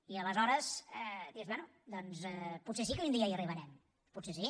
i aleshores dius bé doncs potser sí que un dia hi arribarem potser sí